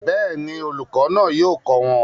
Bẹ́ẹ̀ni, olùkọ́ náà yóò kọ́ wọn